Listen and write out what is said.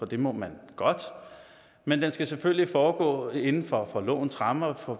det må man godt men den skal selvfølgelig foregå inden for for lovens rammer og